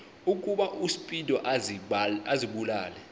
ukuba uspido azibulale